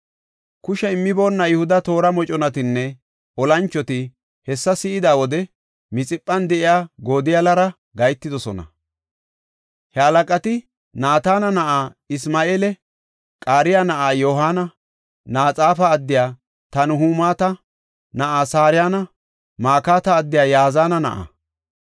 Kushe immiboona Yihuda toora moconatinne olanchoti hessa si7ida wode, Mixiphan de7iya Godoliyara gahetidosona. He halaqati Naatana na7aa Isma7eela, Qareya na7aa Yohaana, Naxoofa addiya Tanhumeta na7aa Sarayanne Makata addiya Yazaana na7aa.